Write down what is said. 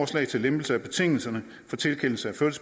til lempelse af betingelserne for tilkendelse